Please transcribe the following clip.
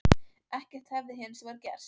Ekkert hefði hins vegar gerst